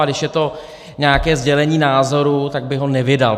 A když je to nějaké sdělení názoru, tak bych ho nevydal.